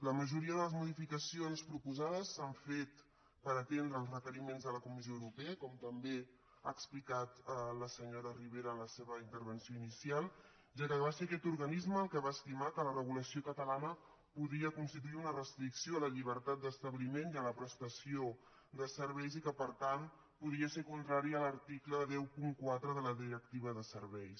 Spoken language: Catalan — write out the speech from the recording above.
la majoria de les modificacions proposades s’han fet per atendre els requeriments de la comissió europea com també ha explicat la senyora ribera en la seva intervenció inicial ja que va ser aquest organisme el que va estimar que la regulació catalana podia constituir una restricció a la llibertat d’establiment i a la prestació de serveis i que per tant podria ser contrària a l’article cent i quatre de la directiva de serveis